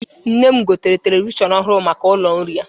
Nne m gotere televishọn ọhụrụ maka ụlọ nri ya.